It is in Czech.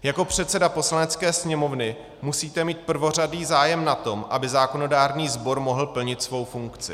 Jako předseda Poslanecké sněmovny musíte mít prvořadý zájem na tom, aby zákonodárný sbor mohl plnit svou funkci.